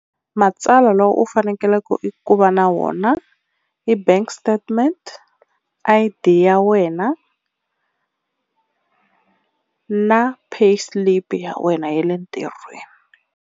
Matsalwa lowu u fanekeleke i ku va na wona i bank statement I_D ya wena na pay slip ya wena ya le ntirhweni.